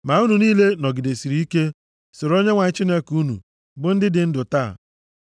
Ma unu niile nọgidesịrị ike soro Onyenwe anyị Chineke unu bụ ndị dị ndụ taa.